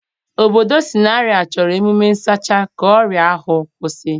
Obodo Sanari a chọrọ emume nsacha ka ọrịa ahụ kwụsị.